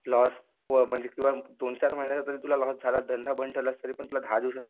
loss म्हणजे दोनचार वर्ष जरी तुला लॉस झाला धंदा बंद ठेवलास तरीपण तुला दहा दिवसात